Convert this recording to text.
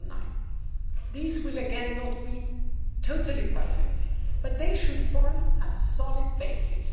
2009. These will, again, not be totally perfect, but they should form a solid basis.